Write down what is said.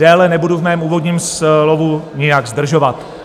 Déle nebudu v mém úvodním slovu nijak zdržovat.